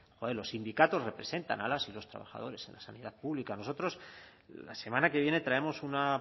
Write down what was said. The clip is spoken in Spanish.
joe los sindicatos representan a las y los trabajadores en la sanidad pública nosotros la semana que viene traemos una